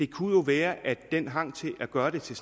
kunne være at den hang til at gøre det til